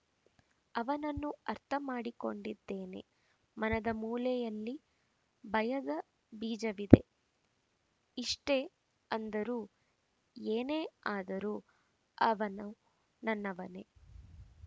ಅವನನ್ನು ಅರ್ಥ ಮಾಡಿಕೊಂಡಿದ್ದೇನೆ ಮನದ ಮೂಲೆಯಲ್ಲಿ ಭಯದ ಬೀಜವಿದೆ ಇಷ್ಟೇ ಅಂದರೂ ಏನೇ ಆದರೂ ಅವನು ನನ್ನವನೇ